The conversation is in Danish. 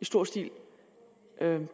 i stor stil